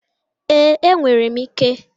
Ee, enwere m ike.